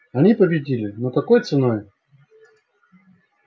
они победили но какой ценой